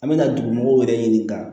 An bɛ na dugu mɔgɔw yɛrɛ ɲininka